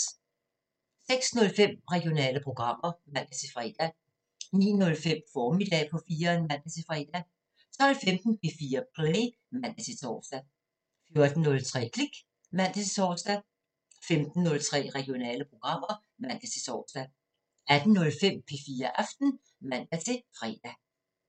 06:05: Regionale programmer (man-fre) 09:05: Formiddag på 4'eren (man-fre) 12:15: P4 Play (man-tor) 14:03: Klik (man-tor) 15:03: Regionale programmer (man-tor) 18:05: P4 Aften (man-fre)